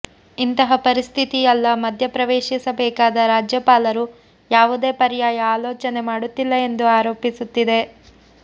ಇಂತಹ ಪರಿಸ್ಥಿತಿಯಲ್ಲ ಮಧ್ಯ ಪ್ರವೇಶಿಸಬೇಕಾದ ರಾಜ್ಯಪಾಲರು ಯಾವುದೆ ಪರ್ಯಾಯ ಆಲೋಚನೆ ಮಾಡುತ್ತಿಲ್ಲ ಎಂದು ಆರೋಪಿಸುತ್ತಿದೆ